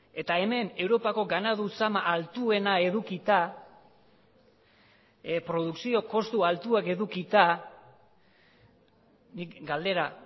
eta hemen europako ganadu zama altuena edukita produkzio kostu altuak edukita nik galdera